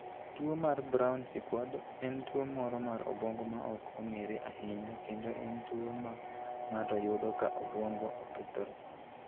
Tuwo mar Brown Sequard en tuwo moro mar obwongo ma ok ong'ere ahinya, kendo en tuwo ma ng'ato yudo ka obwongo okethore.